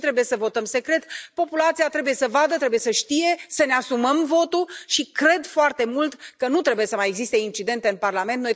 De ce trebuie să votăm secret? Populația trebuie să vadă, trebuie să știe, să ne asumăm votul și cred foarte mult că nu trebuie să mai existe incidente în Parlament.